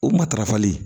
O matarafali